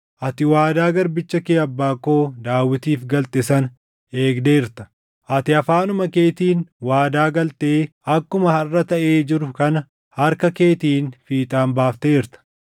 Ati waadaa garbicha kee abbaa koo Daawitiif galte sana eegdeerta; ati afaanuma keetiin waadaa galtee akkuma harʼa taʼee jiru kana harka keetiin fiixaan baafteerta.